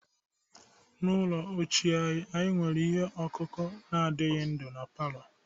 N'ụlọ ochie anyị, anyị nwere ihe ọkụkụ na adighi ndu na palọ.